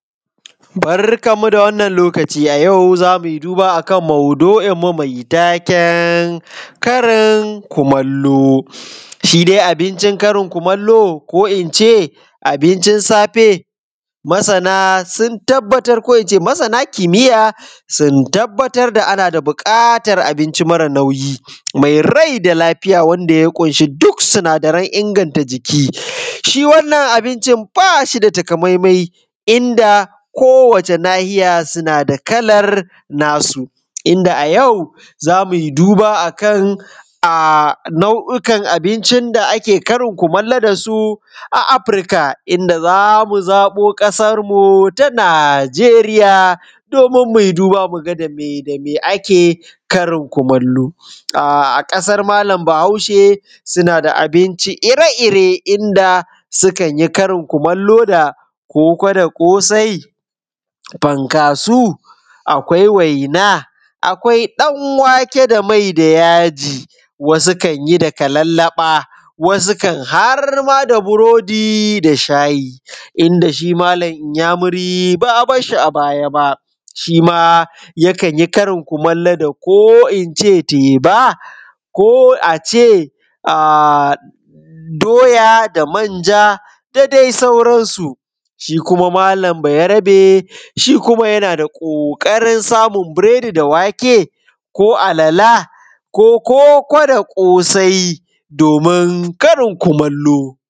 Barkan mu da wannan lokaci ayau zamuyi duba akan maudu’in mu mai taken karin kumalo, shi dai abincin karin kumalo ko in ce abincin safe, masana sun tabbatar ko ince masana kimiya sun tabbatar da ana da bukatar abinci mara nauyi mai rai da lafiya wanda ya ƙunshi duk sinadaran inganta jiki, shi wannan abinci bashi da takamaiman inda kowace nahiya suna da kalar nasu, inda a yau zamuyi duba akan nau’ikan abinci da ake karin kumalo da su a Afrika inda zamu zabo kasar mu ta Nijeriya domin muyi duba muga dame dame ake karin kumalo a kasar malam bahaushe suna da abinci ire-ire inda su kanyi karin kumalo da koko da kosai, fankasau akwai waina, akwai ɗanwake da mai da yaji wasu kanyi da kalallaba, wasu kam harma burodi da shayi inda shi malam inyamiri ba a barshi a baya ba shima yakan yi karin kumalo da ko ince teba ko ace doya da manja da dai sauransu, shi kuma malam bayarbe shi kuma yana kokarin samu biredi da wake ko alale ko koko da kosai domin karin kumalo.